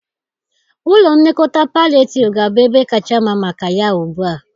Ụlọ nlekọta palliativ ga-abụ ebe kacha mma maka ya ugbu a.